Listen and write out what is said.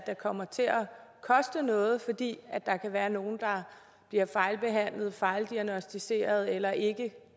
kommer til at koste noget fordi der kan være nogle der bliver fejlbehandlet fejldiagnosticeret eller ikke